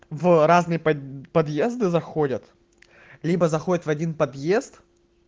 в разные подъезды заходят либо заходят в один подъезд